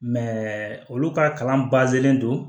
olu ka kalan don